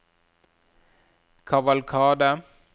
kavalkade